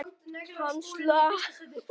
Hann slapp.